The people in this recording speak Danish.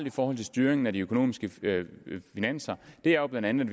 i forhold til styringen af de økonomiske finanser er jo blandt andet